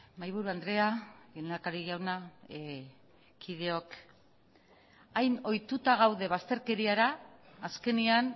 mahaiburu andrea lehendakari jauna kideok hain ohituta gaude bazterkeriara azkenean